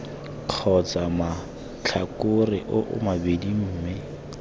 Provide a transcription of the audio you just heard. kgotsa matlhakore oo mabedi mme